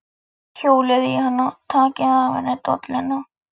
Hjólið í hana. takið af henni dolluna!